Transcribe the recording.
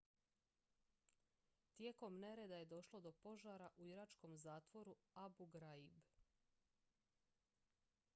tijekom nereda je došlo do požara u iračkom zatvoru abu ghraib